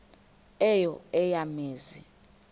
eyo eya mizi